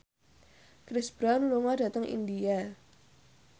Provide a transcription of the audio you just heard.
Chris Brown lunga dhateng India